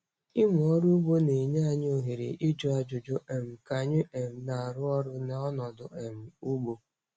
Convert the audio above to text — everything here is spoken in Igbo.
Ịmụ ọrụ ugbo na-enye anyị ohere ịjụ ajụjụ um ka anyị um na-arụ ọrụ na ọnọdụ um ugbo.